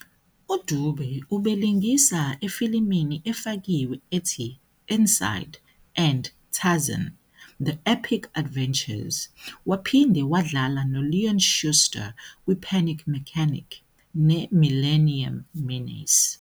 UDube ubelingisa efilimini efakiwe ethi "Inside" and "Tarzan- The Epic Adventures", waphinde wadlala noLeon Schuster "kwiPanic Mechanic" "neMillennium Menace".